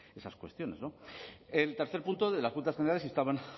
esas cuestiones el tercer punto de las juntas generales instaban